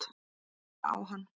Horfi á hann.